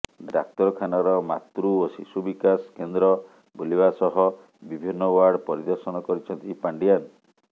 ଡାକ୍ତରଖାନାର ମାତୃ ଓ ଶିଶୁ ବିକାଶ କେନ୍ଦ୍ର ବୁଲିବା ସହ ବିଭିନ୍ନ ୱାର୍ଡ ପରିଦର୍ଶନ କରିଛନ୍ତି ପାଣ୍ଡିଆନ୍